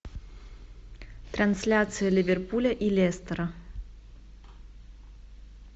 трансляция ливерпуля и лестера